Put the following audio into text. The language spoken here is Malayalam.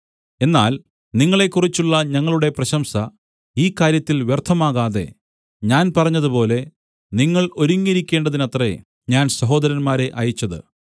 എന്നാൽ നിങ്ങളെക്കുറിച്ചുള്ള ഞങ്ങളുടെ പ്രശംസ ഈ കാര്യത്തിൽ വ്യർത്ഥമാകാതെ ഞാൻ പറഞ്ഞതുപോലെ നിങ്ങൾ ഒരുങ്ങിയിരിക്കേണ്ടതിനത്രേ ഞാൻ സഹോദരന്മാരെ അയച്ചത്